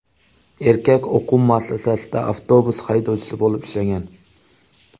Erkak o‘quv muassasasida avtobus haydovchisi bo‘lib ishlagan.